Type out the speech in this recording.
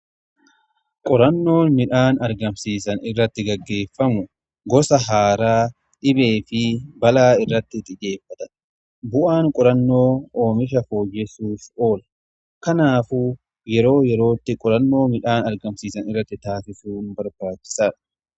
qorannoo midhaan argamsiisan irratti gaggeeffamu gosa haaraa dhibee fi balaa irratti xiyyeeffata. bu'aan qurannoo oomisha fooyyesuuf oolu kanaafuu yeroo yerootti qorannoo midhaan argamsiisa irratti taasisuu barbaachisaadha.